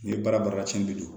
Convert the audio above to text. Ni baara bara cɛn de don